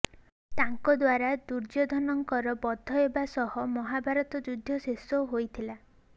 ତାଙ୍କଦ୍ୱାରା ଦୁର୍ଯ୍ୟଧନଙ୍କର ବଧ ହେବା ସହ ମହାଭାରତ ଯୁଦ୍ଧ ଶେଷ ହୋଇଥିଲା